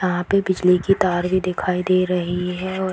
यहाँ पे बिजली के तार भी दिखाई दे रही है और --